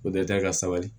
O dɛ ka sabali